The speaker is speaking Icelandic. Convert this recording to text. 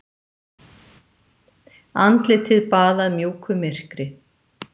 Andlitið baðað mjúku myrkri.